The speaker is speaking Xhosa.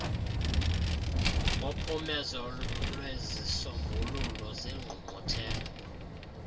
ngophumezo lwezisombululo zengqungquthela